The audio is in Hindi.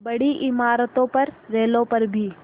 बड़ी इमारतों पर रेलों पर भी